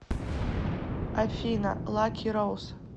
афина лаки роуз